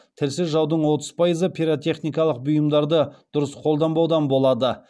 тілсіз жаудың отыз пайызы пиротехникалық бұйымдарды дұрыс қолданбаудан болады